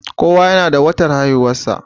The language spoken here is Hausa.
kowa yana da watan haihuwarsa